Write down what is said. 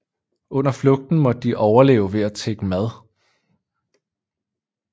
Under flugten måtte de overleve ved at tigge mad